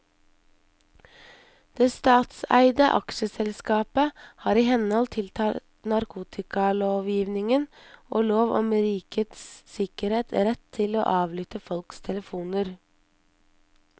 Det statseide aksjeselskapet har i henhold til narkotikalovgivningen og lov om rikets sikkerhet rett til å avlytte folks telefoner.